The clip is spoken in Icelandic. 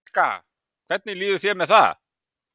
Helga: Hvernig líður þér með það?